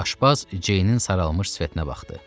Aşpaz Ceynin saralmış sifətinə baxdı.